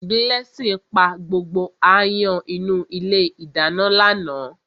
Blessing pa gbogbo áyán inú ilé ìdáná lánàá.